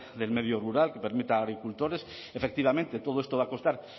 del medio rural que permita a agricultores efectivamente todo esto va a costar